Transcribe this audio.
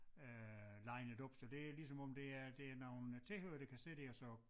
Øh linet op så det ligesom om det er det er nogle tilhørere der kan sidde dér og så